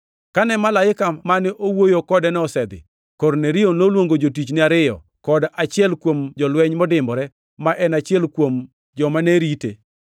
Kane malaika mane wuoyo kodeno osedhi, Kornelio noluongo jotichne ariyo kod achiel kuom jolweny modimbore ma en achiel kuom jomane rite.